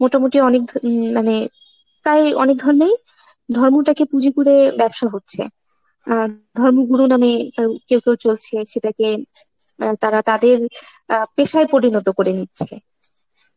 মোটামুটি অনেক ধ~ উম মানে প্রায় অনেক ধর্মেই, ধর্মতাকে পুঁজি করে ব্যবসা হচ্ছে. আর ধর্মগুরু নামে ওই কেউ কেউ চলছে, সেটাকে মানে তা~তারা তাদের অ্যাঁ পেশায় পরিণত করে নিচ্ছে.